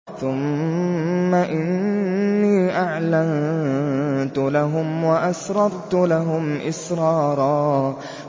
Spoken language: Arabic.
ثُمَّ إِنِّي أَعْلَنتُ لَهُمْ وَأَسْرَرْتُ لَهُمْ إِسْرَارًا